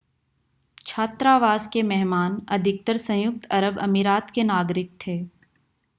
छात्रावास के मेहमान अधिकतर संयुक्त अरब अमीरात के नागरिक थे